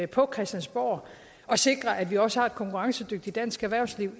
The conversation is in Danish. på christiansborg at sikre at vi også har et konkurrencedygtigt dansk erhvervsliv